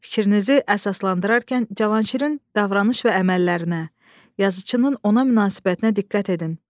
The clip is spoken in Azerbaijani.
Fikrinizi əsaslandırarkən Cavanşirin davranış və əməllərinə, yazıçının ona münasibətinə diqqət edin.